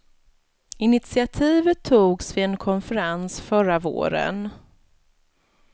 Initiativet togs vid en konferens förra våren.